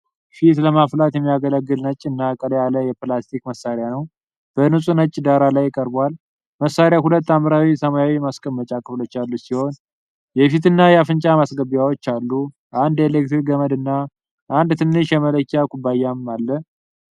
ፊት ለማፍላት የሚያገለግል ነጭ እና ቀላ ያለ የፕላስቲክ መሳሪያ በንጹሕ ነጭ ዳራ ላይ ቀርቧል። መሣሪያው ሁለት ሐምራዊ ሰማያዊ ማስቀመጫ ክፍሎች ያሉት ሲሆን የፊትና የአፍንጫ ማስገቢያዎች አሉ። አንድ የኤሌክትሪክ ገመድና አንድ ትንሽ የመለኪያ ኩባያም አሉ።